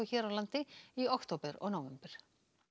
hér á landi í október og nóvember